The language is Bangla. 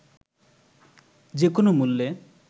যে কোনো মূল্যে